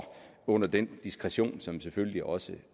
under den diskretion som selvfølgelig også